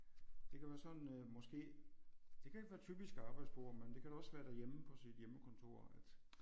Det kan være sådan øh måske det kan ikke et være typisk arbejdsbord men det kan da også være derhjemme på sit hjemmekontor at